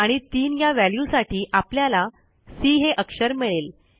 आणि 3या व्हॅल्यूसाठी आपल्याला सी हे अक्षर मिळेल